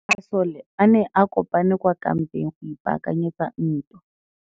Masole a ne a kopane kwa kampeng go ipaakanyetsa ntwa.